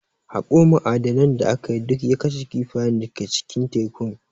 Haƙo ma'adanan da aka yi, duk ya kashe kifayen da ke cikin tekun.